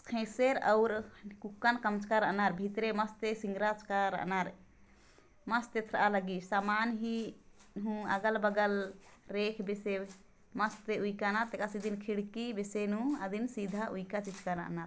थेसीर और आनर मस्त एथरा आ लगी समान ही हु अगल-बगल रेख बीसे मस्त उइका न तेकर सेती खिड़की बीसे नू आदिम --